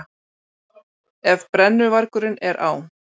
Ef brennuvargurinn er á